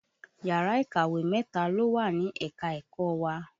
Yàrá ìkàwé mẹ́ta ló wà ní ẹ̀ka-ẹ̀kọ́ wa